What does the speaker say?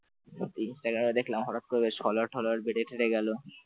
ইনস্টাগ্রামে দেখলাম হঠাৎ করে followers টলার্স বেড়ে টেঁড়ে গেল ।